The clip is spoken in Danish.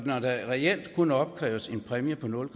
når der reelt kun opkræves en præmie på nul